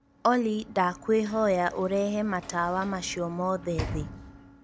olly ndakwihoya ūrehe matawa macio mothe thī